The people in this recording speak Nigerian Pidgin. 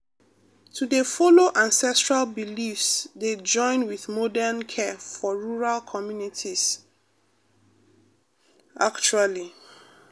to dey follow ancestral beliefs dey join with modern care for rural communities pause actually.